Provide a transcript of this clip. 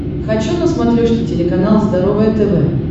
хочу на смотрешке телеканал здоровое тв